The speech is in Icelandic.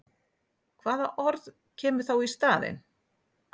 Hvaða orð kemur þá í staðinn?